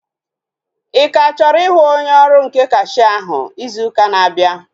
Ị ka chọrọ ịhụ onye ọrụ nke kashia ahụ izu ụka na-abịa?